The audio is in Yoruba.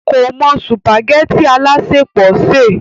kò mọ sùpàgẹ́tì alásèpọ̀ sè